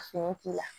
Fini k'i la